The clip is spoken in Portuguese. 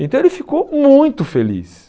Então ele ficou muito feliz.